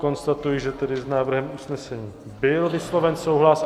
Konstatuji, že tedy s návrhem usnesení byl vysloven souhlas.